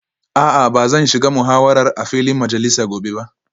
A'a ba zan shiga muhawarar a filin majalisa gobe ba